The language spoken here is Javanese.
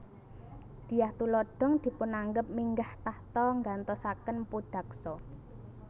Dyah Tulodhong dipunanggep minggah tahta nganggtosaken Mpu Daksa